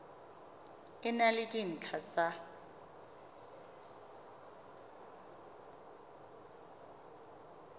e na le dintlha tsa